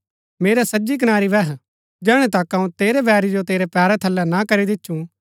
मेरै सज्जी कनारी बैह जैहणै तक अऊँ तेरै बैरी जो तेरै पैरा थलै ना करी दिछुं